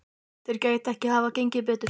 Þeir gætu ekki hafa fengið betri.